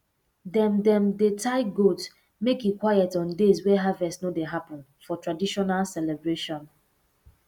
dem dem dey tie goat make e quiet on days wey harvest no dey happen for traditional celebration